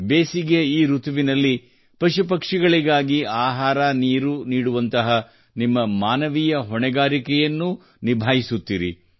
ಬೇಸಿಗೆಯ ಈ ಋತುವಿನಲ್ಲಿ ಪಶುಪಕ್ಷಿಗಳಿಗಾಗಿ ಆಹಾರ ನೀರು ನೀಡುವಂತಹ ನಿಮ್ಮ ಮಾನವೀಯ ಹೊಣೆಗಾರಿಕೆಯನ್ನೂ ನಿಭಾಯಿಸುತ್ತಿರಿ